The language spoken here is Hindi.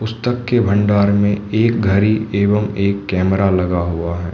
पुस्तक के भंडार में एक घड़ी एवं एक कैमरा लगा हुआ है।